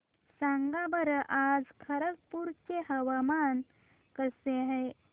सांगा बरं आज खरगपूर चे हवामान कसे आहे